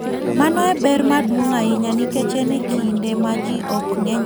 Mano en ber maduong' ahinya nikech en e kinde ma ji ok ng'eny ahinya.